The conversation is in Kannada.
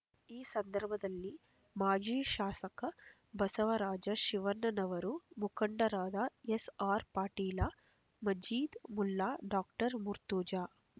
ಈ ಸಂದರ್ಭದಲ್ಲಿ ಮಾಜಿ ಶಾಸಕ ಬಸವರಾಜ ಶಿವಣ್ಣನವರ ಮುಖಂಡರಾದ ಎಸ್ಅರ್ಪಾಟೀಲ ಮಜೀದ್ ಮುಲ್ಲಾ ಡಾಕ್ಟರ್ ಮುರ್ತುಜಾ